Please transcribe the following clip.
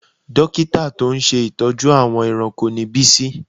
Dókítà tó ń ṣe ìtọ́jú àwọn ẹranko ni Bísí